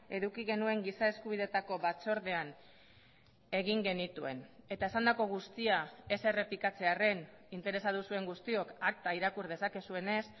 eduki genuen giza eskubideetako batzordean egin genituen eta esandako guztia ez errepikatzearren interesatu zuen guztiok akta irakur dezakezuenez